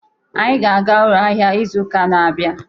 Anyị ga-aga ụlọ ahịa n'izu uka na-abịa.